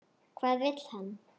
Hvað vill hann?